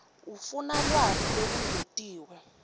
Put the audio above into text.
ufuna lwati lolungetiwe